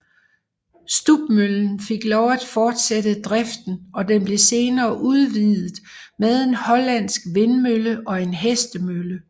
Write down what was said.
Stubmøllen fik lov at fortsætte driften og den blev senere udvidet med en hollandsk vindmølle og en hestemølle